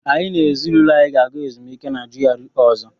Anyị na ezinụlọ anyị ga-aga ezumike na GRA ọzọ.